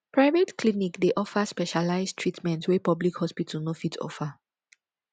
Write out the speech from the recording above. private clinic dey offer specialize treatment wey public hospital no fit offer